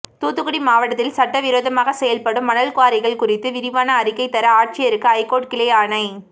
தூத்துக்குடி மாவட்டத்தில் சட்டவிரோதமாக செயல்படும் மணல் குவாரிகள் குறித்து விரிவான அறிக்கை தர ஆட்சியருக்கு ஐகோர்ட் கிளை ஆணை